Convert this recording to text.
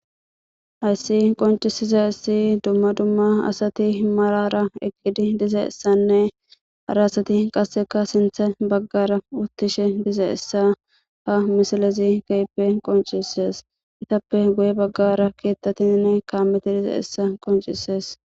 hayssi qoncisiza issi dumma dumma asati malara egidi dize essanne hara asati qasseka sinthe baggara uttishe dize essa fa misalezi keyipe qoncises itappe goye baggara keettatinne kaammeti dize essa qoncisees